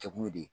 Kɛkun ye